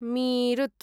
Meerut